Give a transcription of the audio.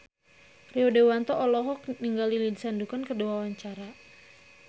Rio Dewanto olohok ningali Lindsay Ducan keur diwawancara